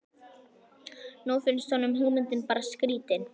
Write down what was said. Nú finnst honum hugmyndin bara skrýtin.